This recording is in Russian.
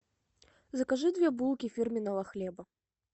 закажи две булки фирменного хлеба